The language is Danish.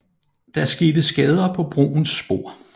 Der skete skader på broens spor